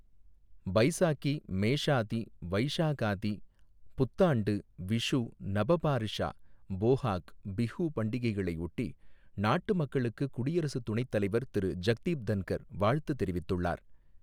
பைசாகி, மேஷாதி, வைஷாகாதி, புத்தாண்டு, விஷு, நப பாரிஷா, போஹாக் பிஹு பண்டிகைகளையொட்டி நாட்டு மக்களுக்குக் குடியரசு துணைத்தலைவர் திரு ஜக்தீப் தன்கர் வாழ்த்து தெரிவித்துள்ளார்.